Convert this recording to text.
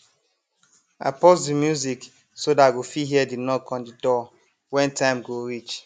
i pause the music so that i go fit hear the knock on the door when time go reach